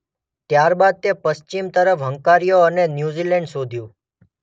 ત્યારબાદ તે પશ્ચિમ તરફ હંકાર્યો અને ન્યૂ ઝિલેન્ડ શોધ્યું.